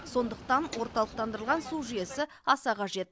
сондықтан орталықтандырылған су жүйесі аса қажет